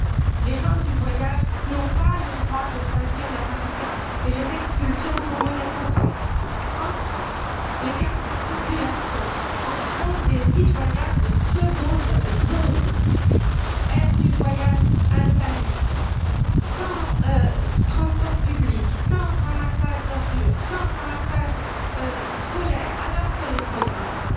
Or, les gens du voyage n'ont pas le droit de choisir leur habitat, et les expulsions sont monnaie courante. En France, les carnets de circulation en font des citoyens de seconde zone aires du voyage insalubres, sans transports publics, sans ramassage d'ordures, sans ramassage scolaire, alors que les fonds existent.